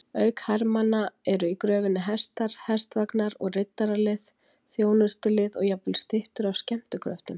Auk hermanna eru í gröfinni hestar, hestvagnar og riddaralið, þjónustulið og jafnvel styttur af skemmtikröftum.